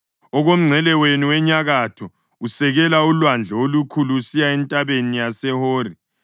Okomngcele wenu wenyakatho, usekela uLwandle oLukhulu usiya eNtabeni yaseHori